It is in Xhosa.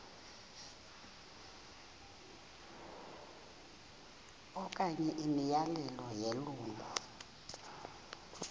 okanye imiyalelo yelungu